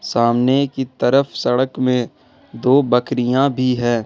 सामने की तरफ सड़क में दो बकरियां भी है।